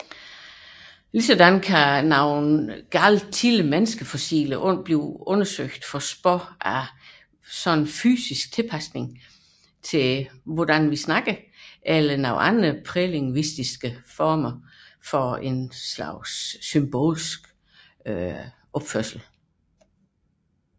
Ligeledes kan tidlige menneskefossiler undersøges for spor af fysiske tilpasninger til sprogbrug eller prælingvistiske former for symbolsk adfærd